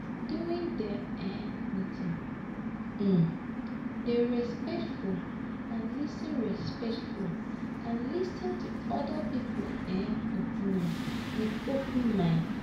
During di um meeting, um dey respectful and lis ten respectful and lis ten to oda people um opinion with open mind